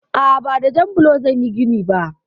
A'a, ba da jan blo zan yi gini ba.